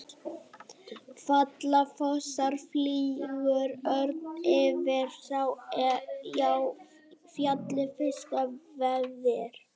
Falla fossar, flýgur örn yfir, sá er á fjalli fiska veiðir.